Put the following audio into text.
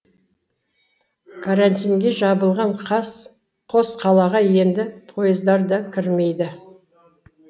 карантинге жабылған қос қалаға енді пойыздар да кірмейді